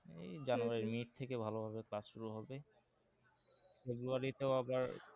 এই January mid থেকে ভালো ভাবে class শুরু হবে February তেও আবার